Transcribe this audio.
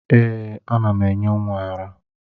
Èè, ana m enye nwa ara.